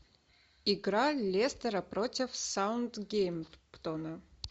игра лестера против саутгемптона